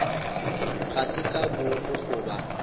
ga se ka boomo goba